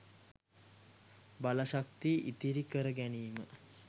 බලශක්තිය ඉතිරි කර ගැනීම